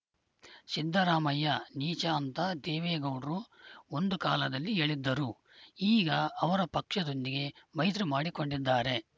ಸಿದ್ದರಾಮಯ್ಯ ನೀಚ ಅಂತ ದೇವೇಗೌಡ್ರು ಒಂದು ಕಾಲದಲ್ಲಿ ಹೇಳಿದ್ದರು ಈಗ ಅವರ ಪಕ್ಷದೊಂದಿಗೆ ಮೈತ್ರಿ ಮಾಡಿಕೊಂಡಿದ್ದಾರೆ